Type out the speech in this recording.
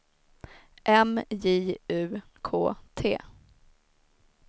M J U K T